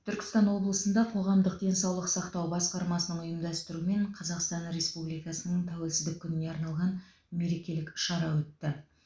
түркістан облысында қоғамдық денсаулық сақтау басқармасының ұйымдастырумен қазақстан республикасының тәуелсіздік күніне арналған мерекелік іс шара өтті